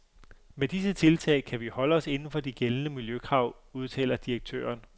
Med disse tiltag kan vi holde os inden for de gældende miljøkrav, udtaler direktøren.